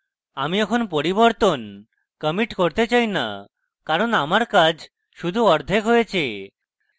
আমি এখন পরিবর্তন commit করতে চাই না কারণ আমার কাজ শুধু অর্ধেক হয়েছে